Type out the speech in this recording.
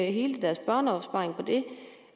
hele deres børneopsparing på det